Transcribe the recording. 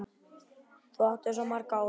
Þú áttir svo margt ólifað.